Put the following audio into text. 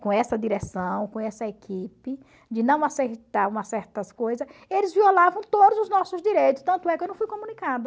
com essa direção, com essa equipe, de não umas certas coisa, eles violavam todos os nossos direitos, tanto é que eu não fui comunicada.